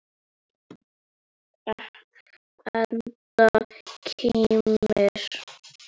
Edda kímir.